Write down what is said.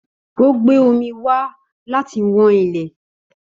Ó gbé omi wá láti wán ilẹ̀